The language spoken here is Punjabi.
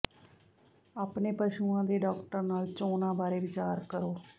ਆਪਣੇ ਪਸ਼ੂਆਂ ਦੇ ਡਾਕਟਰ ਨਾਲ ਚੋਣਾਂ ਬਾਰੇ ਵਿਚਾਰ ਕਰੋ